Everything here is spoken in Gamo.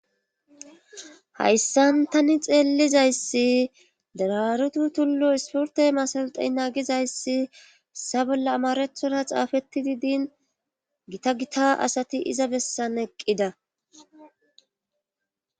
hayssan tani xeellizayssi dararutu tullu isporte masalitena gizayssi bolla amarethora xaafettidi din gita gita asati iza bessan eqqida